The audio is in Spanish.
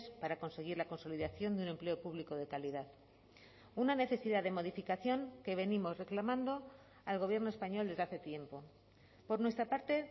para conseguir la consolidación de un empleo público de calidad una necesidad de modificación que venimos reclamando al gobierno español desde hace tiempo por nuestra parte